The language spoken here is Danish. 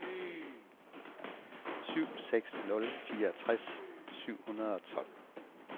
syv seks syv nul fireogtres syv hundrede og tolv